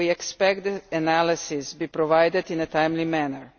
We expect the analysis to be provided in a timely manner.